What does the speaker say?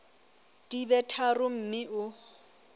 di be tharo mme o